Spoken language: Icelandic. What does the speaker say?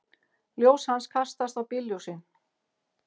Ljós hans kastast á bílljósin.